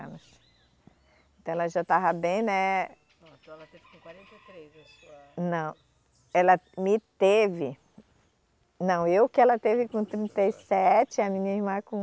Então ela já estava bem, né. Ham, então ela teve com quarenta e três a sua. Não, ela me teve. Não, eu que ela teve com trinta e sete e a minha irmã com